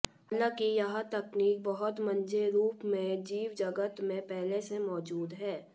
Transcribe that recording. हालांकि यह तकनीक बहुत मंझे रूप में जीव जगत में पहले से मौजूद है